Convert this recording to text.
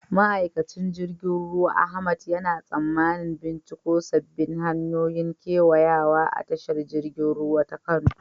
Ma'aikacin jirgin ruwa Ahmad yana tsammanin binciko sabbin hanyoyin kewayawa a tashar jirgin ruwa ta Kano.